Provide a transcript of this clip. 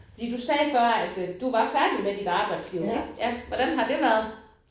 Fordi du sagde før at du var færdig med dit arbejdsliv ikk. Hvordan har det været?